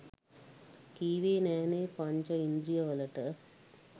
කීවෙ නෑනෙ පංච ඉන්ද්‍රීය වලට